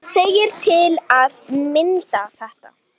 segir til að mynda þetta